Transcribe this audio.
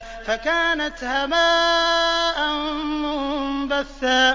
فَكَانَتْ هَبَاءً مُّنبَثًّا